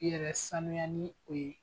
I yɛrɛ sanuya ni o ye.